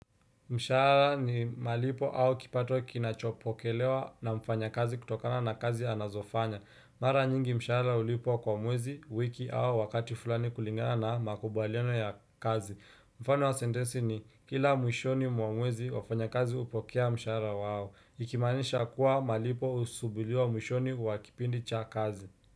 Mshahara ni malipo au kipato kinachopokelewa na mfanyakazi kutokana na kazi anayofanya. Mara nyingi mshahara ulipwa kwa mwezi, wiki au wakati fulani kulingana na makubaliano ya kazi. Mfano wa sentensi ni kila mwishoni mwa mwezi wafanyakazi hupokea mshahara wao. Ikimaanisha kuwa malipo husubiliwa mwishoni mwa kipindi cha kazi.